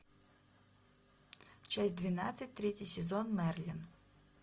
часть двенадцать третий сезон мерлин